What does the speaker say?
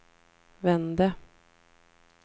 vände